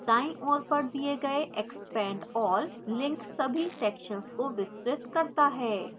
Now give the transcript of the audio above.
दाईं ओर पर the गए expand all link सभी sections को विस्तृत करता है